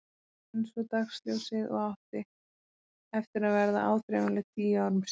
Einsog dagsljósið og átti eftir að verða áþreifanleg tíu árum síðar.